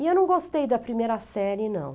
E eu não gostei da primeira série, não.